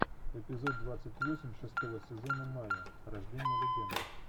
эпизод двадцать восемь шестого сезона майя рождение легенды